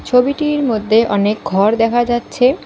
ছবিটির মধ্যে অনেক ঘর দেখা যাচ্ছে।